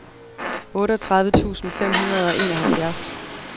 otteogtredive tusind fem hundrede og enoghalvfjerds